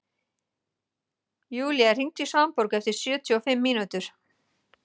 Julia, hringdu í Svanborgu eftir sjötíu og fimm mínútur.